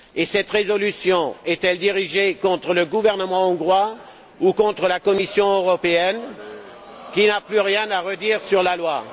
Cette résolution est elle dirigée contre le gouvernement hongrois ou contre la Commission européenne, qui n'a plus rien à redire sur la loi?